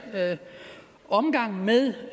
omgangen med